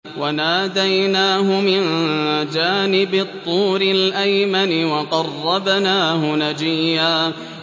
وَنَادَيْنَاهُ مِن جَانِبِ الطُّورِ الْأَيْمَنِ وَقَرَّبْنَاهُ نَجِيًّا